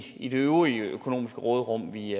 i det øvrige økonomiske råderum vi